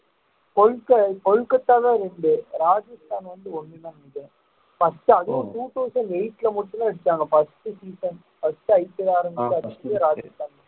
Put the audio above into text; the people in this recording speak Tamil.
கொல்~ கொல்கத்தாதான் இரண்டு ராஜஸ்தான் வந்து ஒண்ணுதான் first அதுவும் two thousand eight ல மட்டுந்தான் அடிச்சாங்க first season first IPL ஆரம்பிச்சப்போ ராஜஸ்தான்